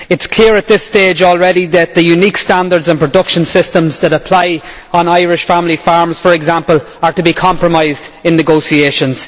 It is clear at this stage already that the unique standards and production systems that apply on Irish family farms, for example, will be compromised in negotiations.